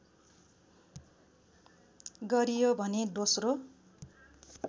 गरियो भने दोस्रो